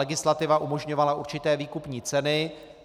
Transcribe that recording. Legislativa umožňovala určité výkupní ceny.